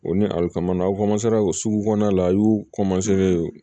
O ni alikamanw ka sugu kɔnɔna la a y'u